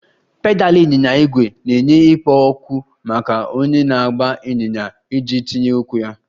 Pedal ịnyịnya ígwè na-enye ikpo okwu maka onye na-agba ịnyịnya iji tinye ụkwụ ya